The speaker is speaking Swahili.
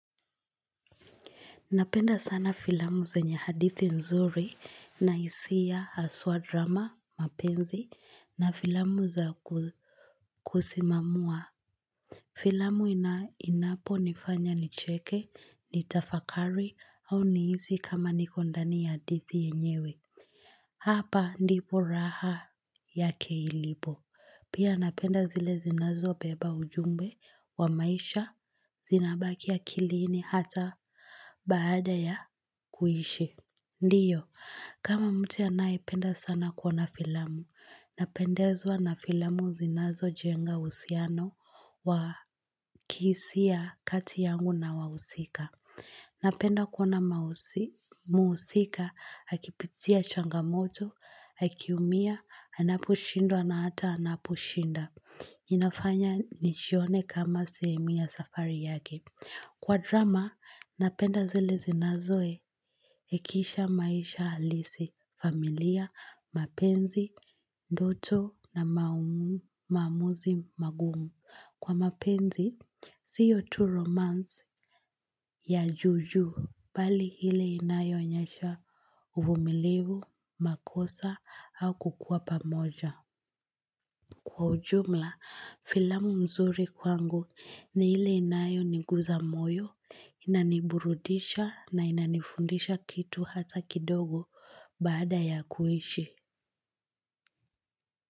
Napenda sana filamu zenye hadithi nzuri na hisia haswa drama, mapenzi na filamu za ku,, kusimamua. Filamu ina inapo nifanya nicheke, nitafakari au nihisi kama niko ndani ya hadithi yenyewe. Hapa ndipo raha yake ilipo. Pia napenda zile zinazobeba ujumbe wa maisha zinabaki ya akilini hata baada ya kuishi. Ndiyo, kama mtu anayependa sana kuona filamu, napendezwa na filamu zinazojenga uhusiano wa kihisia kati yangu na wahusika. Napenda kuona mausi muusika, akipitia changamoto, akiumia, anaposhindwa na hata anaposhinda. Inafanya nijione kama sehemu ya safari yake. Kwa drama, napenda zile zinazoe ekisha maisha halisi, familia, mapenzi, ndoto na maumu maamuzi, magumu. Kwa mapenzi, sio tu romance ya juujuu, bali ile inayo onyesha uvumilivu, makosa, au kukuwa pamoja. Kwa ujumla, filamu mzuri kwangu ni ile inayoniguza moyo inaniburudisha na inanifundisha kitu hata kidogo baada ya kuishi.